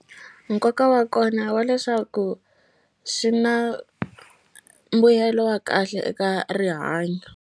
Nkoka wa kona wa leswaku swi na mbuyelo wa kahle eka rihanyo.